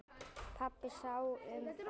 Pabbi sá um það.